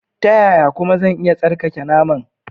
Ta yaya kuma zan iya tsarkake naman?